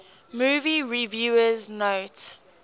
movie reviewers note